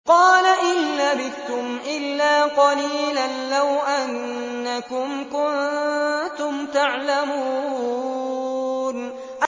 قَالَ إِن لَّبِثْتُمْ إِلَّا قَلِيلًا ۖ لَّوْ أَنَّكُمْ كُنتُمْ تَعْلَمُونَ